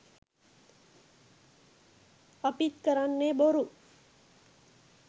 අපිත් කරන්නෙ බොරු